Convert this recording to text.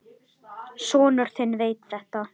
Sonur þinn veit þetta.